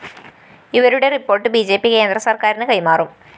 ഇവരുടെ report B J P കേന്ദ്രസര്‍ക്കാരിന് കൈമാറും